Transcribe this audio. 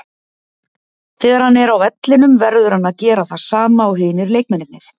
Þegar hann er á vellinum verður hann að gera það sama og hinir leikmennirnir.